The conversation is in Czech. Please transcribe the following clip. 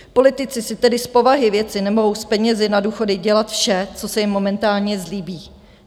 Politici si tedy z povahy věci nemohou s penězi na důchody dělat vše, co se jim momentálně zlíbí.